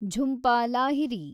Jhumpa Lahiri